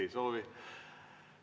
Ei soovi.